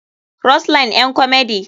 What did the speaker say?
rose line ƴan komedi.